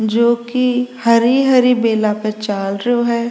जो की हरि हरि बेला पर चालरियो है।